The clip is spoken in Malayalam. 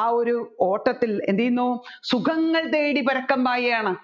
ആ ഒരു ഓട്ടത്തിൽ എന്ത് ചെയ്യുന്നു സുഖങ്ങൾ തേടി പരക്കംപായുകയാണ്